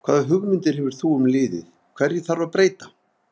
Hvaða hugmyndir hefur þú um liðið, hverju þarf að breyta?